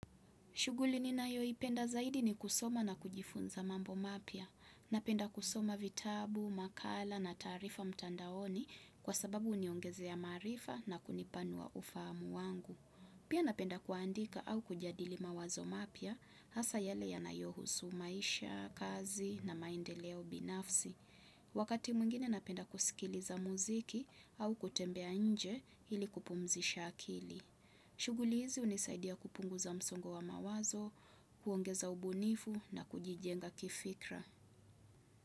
Shughuli ninayoipenda zaidi ni kusoma na kujifunza mambo mapya. Napenda kusoma vitabu, makala na taarifa mtandaoni kwa sababu huniongezea maarifa na kunipanua ufahamu wangu. Pia napenda kuandika au kujadili mawazo mapya hasa yale yanayohusu maisha, kazi na maendeleo binafsi. Wakati mwngine napenda kusikiliza muziki au kutembea nje ili kupumzisha akili. Shughuli hizi hunisaidia kupunguza msongo wa mawazo, kuongeza ubunifu na kujijenga kifikra.